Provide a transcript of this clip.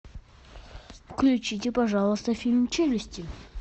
включите пожалуйста фильм челюсти